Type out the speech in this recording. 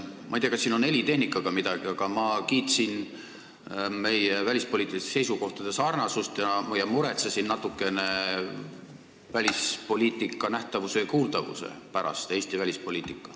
Ma ei tea, kas siin on helitehnikaga midagi, aga ma kiitsin meie välispoliitiliste seisukohtade sarnasust ja muretsesin natukene Eesti välispoliitika nähtavuse ja kuuldavuse pärast.